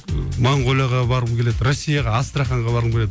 ыыы монголияға барғым келеді россияға астраханьға барғым келеді